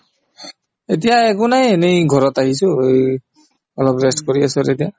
এতিয়া একো নাই এনেই ঘৰত আহিছো এই অলপ rest কৰি আছো আৰু এতিয়া